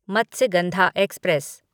Matsyagandha express